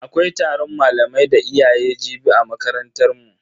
Akwai taron malamai da iyaye jibi a makarantar mu.